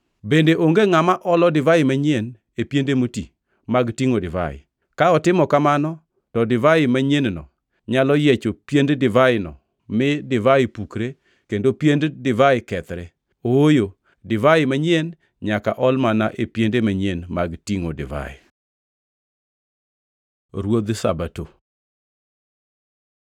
Bende onge ngʼama olo divai manyien e piende moti mag tingʼo divai. Ka otimo kamano to divai manyien-no nyalo yiecho piend divaino mi divai pukre kendo piend divai kethre. Ooyo, divai manyien nyaka ol mana e piende manyien mag tingʼo divai.” Ruodh Sabato